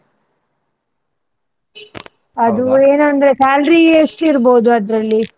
ಅದು ಏನ್ ಅಂದ್ರೆ salary ಎಷ್ಟ್ ಇರ್ಬೋದು ಅದ್ರಲ್ಲಿ.